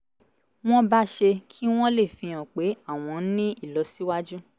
wọ́n bá ṣe kí wọ́n lè fi hàn pé àwọn ń ní ìlọsíwájú